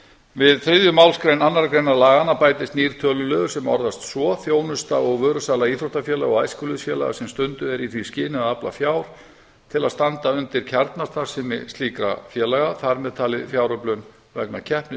við þriðju málsgrein annarrar greinar laganna bætist nýr töluliður sem orðast svo þjónusta og vörusala íþróttafélaga og æskulýðsfélaga sem stunduð er í því skyni að afla fjár til að standa undir kjarnastarfsemi slíkra félaga þar með talin fjáröflun vegna keppnis